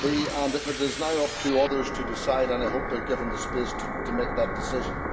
And it is now up to others to decide and I hope they are given the space to make that decision.